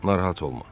Narahat olma.